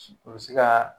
O bɛ se ka